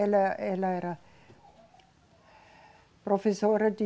Ela, ela era professora de...